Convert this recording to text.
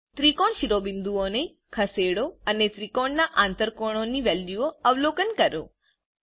ત્રિકોણ શીઓબિંદુઓને ખસેડો અનેત્રિકોણના આંતરકોણો ની વેલ્યુઓ અવલોકન કરો